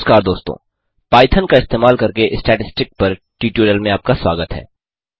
नमस्कार दोस्तों पाइथन का इस्तेमाल करके स्टैटिस्टिक पर ट्यूटोरियल में आपका स्वागत है